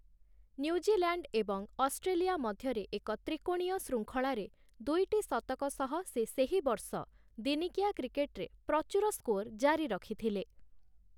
New Zealand ଏବଂ Australia ମଧ୍ୟରେ ଏକ ତ୍ରିକୋଣୀୟ ଶୃଙ୍ଖଳାରେ ଦୁଇଟି ଶତକ ସହ, ସେ ସେହି ବର୍ଷ ଦିନିକିଆ କ୍ରିକେଟରେ ପ୍ରଚୁର ସ୍କୋର୍‌ ଜାରି ରଖିଥିଲେ ।